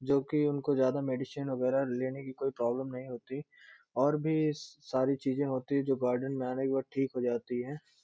जो कि इनको ज्यादा मेडिसिन वगेेरा लेने की कोई प्रॉब्लम नहीं होती और भी सारी चीज़ें होती हैं जो गार्डन में आने के बाद ठीक हो जाती हैं |